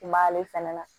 I b'ale fɛnɛ na